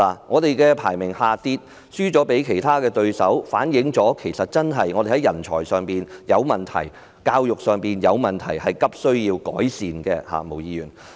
香港排名下跌，輸給其他對手，這反映出我們在人才上有問題及教育上有問題，急需改善。